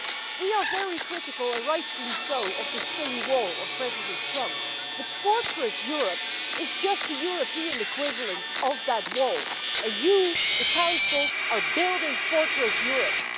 We are very critical, and rightfully so, of this silly wall of President Trump, but Fortress Europe is just a European equivalent of that wall, and you in the Council are building Fortress Europe.